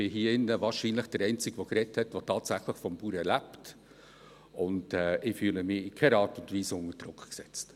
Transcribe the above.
Ich bin hier drinnen wahrscheinlich der Einzige, der gesprochen hat, der tatsächlich vom Bauern lebt, und ich fühle mich in keiner Art und Weise unter Druck gesetzt.